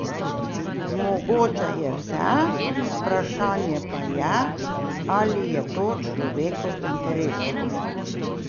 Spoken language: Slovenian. Mogoče je vse, vprašanje pa je, ali je to človeku v interesu.